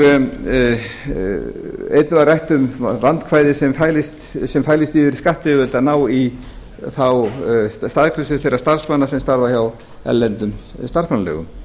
einnig var rætt um vandkvæði sem fælist fyrir skattyfirvöldum að ná í þá staðgreiðslu þeirra starfsmanna sem starfa hjá erlendum starfsmannaleigum